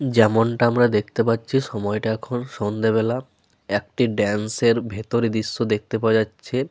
যেমনটা আমরা দেখতে পাচ্ছি সময়টা এখন সন্ধ্যাবেলা। একটি ডান্স এর ভেতরের দৃশ্য দেখতে পাওয়া যাচ্ছে।